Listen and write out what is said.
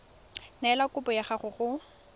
neela kopo ya gago go